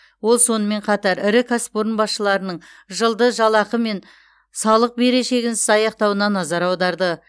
ол сонымен қатар ірі кәсіпорын басшыларының жылды жалақы мен салық берешегінсіз аяқтауына назар аударды